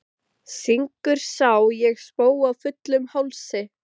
Syngur Sá ég spóa fullum hálsi.